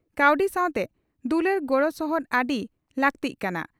ᱠᱟᱹᱣᱰᱤ ᱥᱟᱣᱛᱮ ᱫᱩᱞᱟᱹᱲ ᱜᱚᱲᱚ ᱥᱚᱦᱚᱫ ᱟᱹᱰᱤ ᱞᱟᱹᱜᱛᱤᱜ ᱠᱟᱱᱟ ᱾